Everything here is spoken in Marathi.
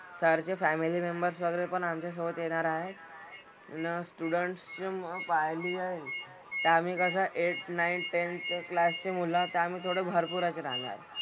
सर चे फॅमिली मेम्बर्स वगैरे पण आमच्यासोबत येणार आहेत. अन स्टुडंट्स जे मी पाहिली आहेत ते आम्ही कसं एट नाईन टेन चं क्लासची मुलं तर आम्ही थोडं भरपूर असे जाणार.